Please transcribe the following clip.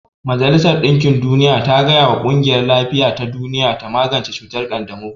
Majalisar dinkin duniya ta gaya wa ƙungiyar lafiya ta duniya ta magance cutar ƙanjamau